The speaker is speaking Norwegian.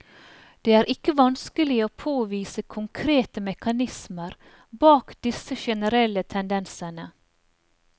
Det er ikke vanskelig å påvise konkrete mekanismer bak disse generelle tendensene.